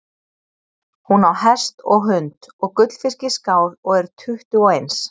Hún á hest og hund og gullfisk í skál og er tuttugu og eins.